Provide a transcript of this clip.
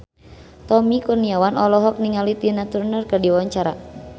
Tommy Kurniawan olohok ningali Tina Turner keur diwawancara